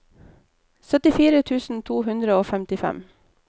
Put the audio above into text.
syttifire tusen to hundre og femtifem